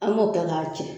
An b'o kɛ k'a ci